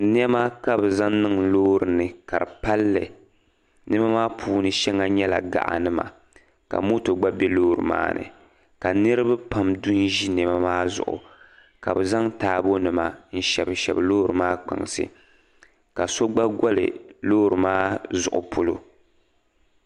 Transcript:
Niɛma ka bi zaŋ niŋ pa loori ni ka di palli Niɛma maa puuni shɛŋa nyɛla gaɣi nima ka moto gba bɛ loori maa ni ka niraba pam du n ʒi ni loori maa zuɣu ka bi zaŋ niɛma shabi shabi ka so gba goli loori maa zuɣu polo